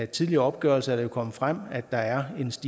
tidligere opgørelser er kommet frem at der er